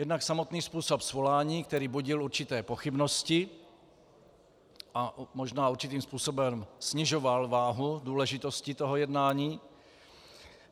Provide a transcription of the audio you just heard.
Jednak samotný způsob svolání, který budil určité pochybnosti a možná určitým způsobem snižoval váhu důležitosti toho jednání.